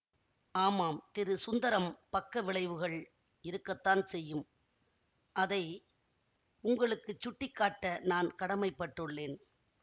ஆமாம் திரு சுந்தரம் பக்க விளைவுகள் இருக்கத்தான் செய்யும் அதை உங்களுக்கு சுட்டி காட்ட நான் கடமைப் பட்டுள்ளேன்